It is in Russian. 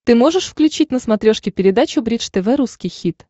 ты можешь включить на смотрешке передачу бридж тв русский хит